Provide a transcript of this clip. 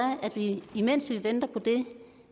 imens vi venter på det